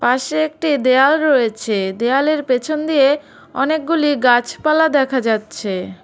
পাশে একটি দেয়াল রয়েছে দেয়ালের পেছন দিয়ে অনেকগুলি গাছপালা দেখা যাচ্ছে।